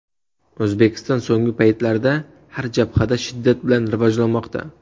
O‘zbekiston so‘nggi paytlarda har jabhada shiddat bilan rivojlanmoqda.